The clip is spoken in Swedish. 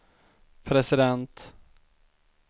president